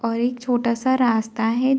और एक छोटा सा रास्ता है।